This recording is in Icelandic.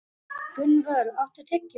Gunnvör, áttu tyggjó?